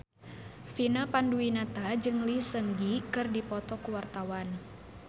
Vina Panduwinata jeung Lee Seung Gi keur dipoto ku wartawan